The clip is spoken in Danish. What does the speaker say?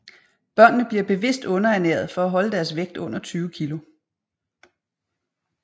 Børnene bliver bevidst underernæret for at holde deres vægt under 20 kg